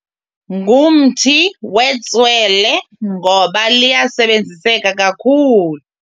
Ngumthi wetswele ngoba liyasebenziseka kakhulu.